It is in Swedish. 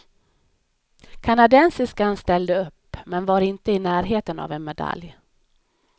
Kanadensiskan ställde upp, men var inte i närheten av en medalj.